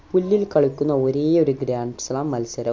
പുല്ലിൽ കളിക്കുന്ന ഒരേ ഒരു grand slam മത്സര